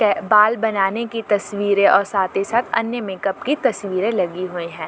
के बाल बनाने की तस्वीरें और साथ ही साथ अन्य मेकअप की तस्वीरें लगी हुई हैं।